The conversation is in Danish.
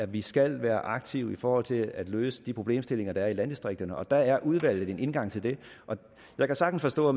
vi skal være aktive i forhold til at løse de problemstillinger der er i landdistrikterne og der er udvalget en indgang til det jeg kan sagtens forstå